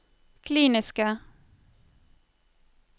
kliniske